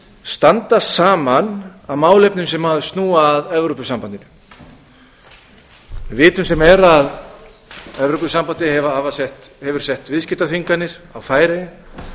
standa saman að málefnum sem snúa að evrópusambandinu við vitum sem er að evrópusambandið hefur sett viðskiptaþvinganir á færeyjar